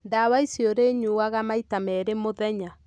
Ndawa ici ũrĩ nyuaga maita merĩ mũthenya.